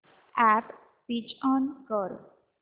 app switch on कर